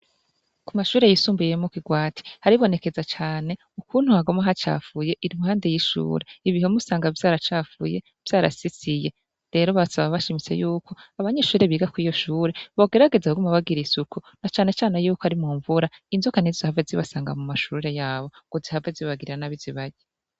Ku mashure yisumbuye yo mu kigwati haribonekeza cane ukuntu haguma hacafuye iruhande y'ishure, ibihome usanga vyaracafuye vyarasisiye, rero basaba bashimitse yuko abanyeshure biga kw'iryo shure bogerageza kuguma bagira isuku na canecane yuko ari mu mvura inzoka ntizizohave zibasanga mu mashure yabo ngo zihave zibagirira nabi zibarye.